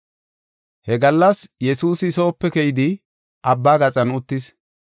He gallas Yesuusi soope keyidi abba gaxan uttis.